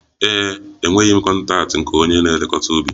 Ee e, enweghị m kọntaktị nke onye na-elekọta ubi